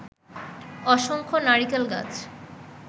অসংখ্য নারিকেল গাছ